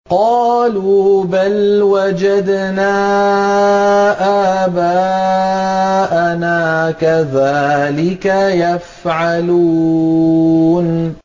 قَالُوا بَلْ وَجَدْنَا آبَاءَنَا كَذَٰلِكَ يَفْعَلُونَ